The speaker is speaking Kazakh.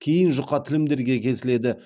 кейін жұқа тілімдерге кесіледі